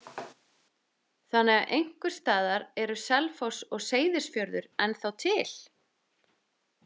Þannig að einhvers staðar eru Selfoss og Seyðisfjörður ennþá til?